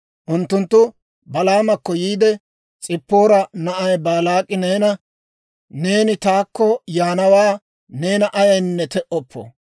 Unttunttu Balaamakko yiide, «S'ippoora na'ay Baalaak'i neena, ‹Neeni taakko yaanawaa neena ayaynne te"oppo.